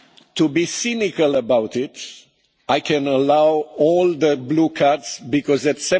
To be cynical about it, I can allow all the blue cards, because at